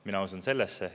Mina usun sellesse.